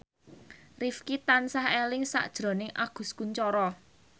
Rifqi tansah eling sakjroning Agus Kuncoro